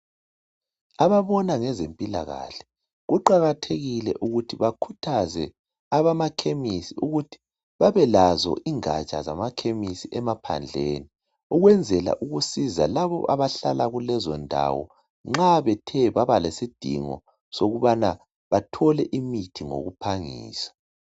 Ababona ngezempilakahle kuqakathekile ukuthi bakhuthaze abamakhemesi ukuthi babelazo ingaja zamakhemesi emaphandleni ukwenzela ukusiza labo abahlala kulezo ndawo nxa bethe babalesidingo sokubana bathole imithi ngokuphangisa.